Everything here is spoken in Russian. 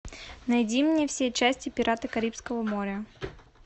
найди мне все части пираты карибского моря